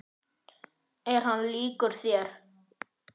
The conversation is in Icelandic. Er hann líkur þér?